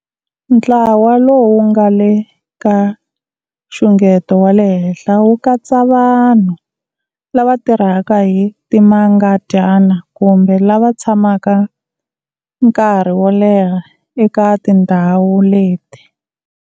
Ntlawa lowu nga le ka xungeto wa le henhla wu katsa vanhu lava tirhaka hi timangadyana kumbe lava tshamaka nkarhi wo leha eka tindhawu leti.